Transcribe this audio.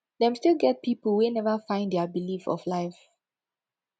dem still get pipo wey neva find dia belief of life